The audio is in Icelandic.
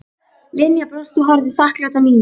Linja brosti og horfði þakklát á Nínu.